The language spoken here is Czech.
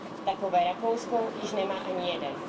Takové Rakousko již nemá ani jeden.